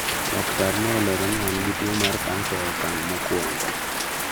Lakrtar ne olero ni an gi tuwo mar cancer e okang' ma owongo